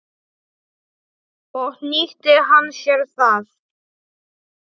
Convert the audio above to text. Og nýtti hann sér það.